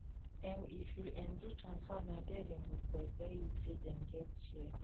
um if you um do transfer na there dem go tell tell you say dem get share